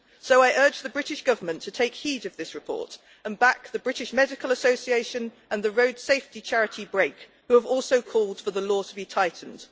So I urge the British Government to take heed of this report and back the British Medical Association and the road safety charity, Brake, who have also called for the law to be tightened.